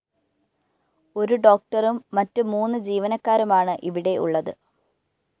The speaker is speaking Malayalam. ഒരു ഡോക്ടറും മറ്റ് മൂന്ന് ജീവനക്കാരുമാണ് ഇവിടെ ഉള്ളത്